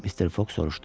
Mister Foq soruşdu.